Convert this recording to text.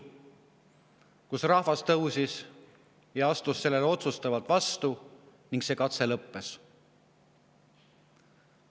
Siis astus rahvas sellele otsustavalt vastu ning see katse lõppes.